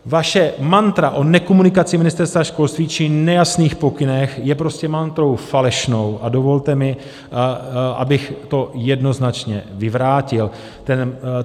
Vaše mantra o nekomunikaci Ministerstva školství či nejasných pokynech je prostě mantrou falešnou a dovolte mi, abych to jednoznačně vyvrátil.